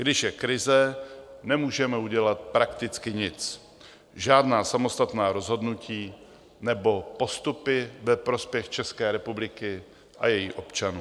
Když je krize, nemůžeme udělat prakticky nic, žádná samostatná rozhodnutí nebo postupy ve prospěch České republiky a jejích občanů.